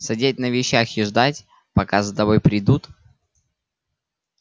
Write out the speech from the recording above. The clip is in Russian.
сидеть на вещах и ждать пока за тобой придут